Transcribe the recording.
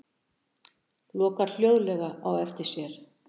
Lokar hljóðlega á eftir sér.